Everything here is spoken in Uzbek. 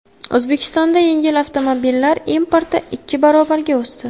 O‘zbekistonda yengil avtomobillar importi ikki barobarga o‘sdi .